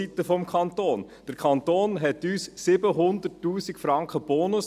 Der Kanton verfügte uns 700 000 Franken Bonus;